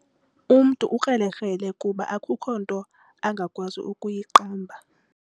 Umntu ukrelekrele kuba akukho nto angakwazi ukuyiqamba.